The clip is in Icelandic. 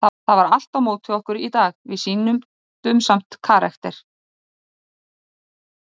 Það var allt á móti okkur í dag, við sýndum samt karakter.